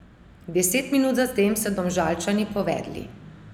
Deset minut zatem so Domžalčani povedli.